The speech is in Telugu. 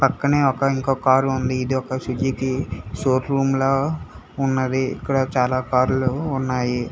పక్కనే ఒక ఇంకొ కార్ ఉంది ఇది ఒక సుజుకి షో రూమ్ లా ఉన్నది ఇక్కడ చాలా కార్ లు ఉన్నాయి.